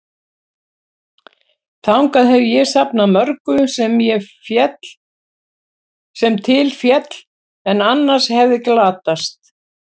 Þangað hef ég safnað mörgu, sem til féll, en annars hefði glatast.